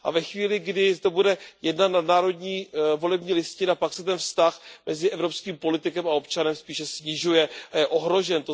A ve chvíli, kdy to bude jedna nadnárodní volební listina, pak se ten vztah mezi evropským politikem a občanem spíše snižuje a je ohrožen.